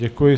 Děkuji.